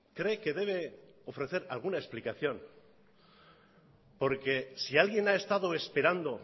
cree que debe ofrecer alguna explicación porque si alguien ha estado esperando